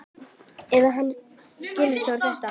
Að hann skyldi þora þetta!